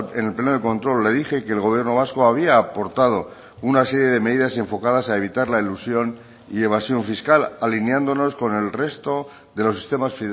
en el pleno de control le dije que el gobierno vasco había aportado una serie de medidas enfocadas a evitar la elusión y evasión fiscal alineándonos con el resto de los sistemas